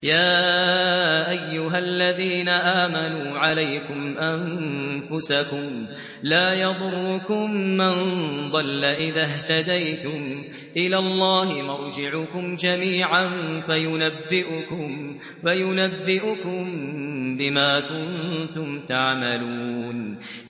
يَا أَيُّهَا الَّذِينَ آمَنُوا عَلَيْكُمْ أَنفُسَكُمْ ۖ لَا يَضُرُّكُم مَّن ضَلَّ إِذَا اهْتَدَيْتُمْ ۚ إِلَى اللَّهِ مَرْجِعُكُمْ جَمِيعًا فَيُنَبِّئُكُم بِمَا كُنتُمْ تَعْمَلُونَ